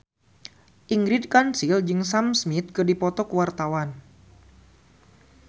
Ingrid Kansil jeung Sam Smith keur dipoto ku wartawan